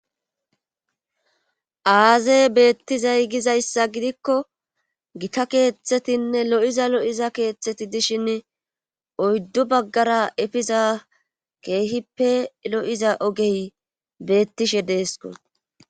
aazey beettizay gizayssa gidikko gita keeththetinne lo7iza lo7iza keeththeti dishin oyddu baggara efiza keehippe lo7iza ogey beettishe deesko